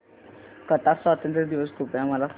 Qatar स्वातंत्र्य दिवस कृपया मला सांगा